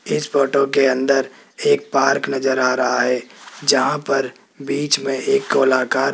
इस फोटो के अंदर एक पार्क नजर आ रहा है जहां पर बीच में एक गोलाकार --